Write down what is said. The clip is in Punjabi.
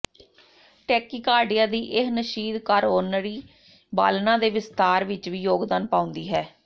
ਟੈਕੀਕਾਰਡਿਆ ਦੀ ਇਹ ਨਸ਼ੀਦ ਕਾਰੋਨਰੀ ਬਾਲਣਾਂ ਦੇ ਵਿਸਥਾਰ ਵਿੱਚ ਵੀ ਯੋਗਦਾਨ ਪਾਉਂਦੀ ਹੈ